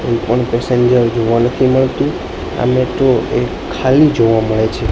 કોઇ પણ પેસેન્જર જોવા નથી મળતુ અને તો એક ખાલી જોવા મડે છે.